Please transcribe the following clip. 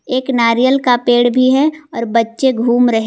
एक नारियल का पेड़ भी है और बच्चे घूम रहे--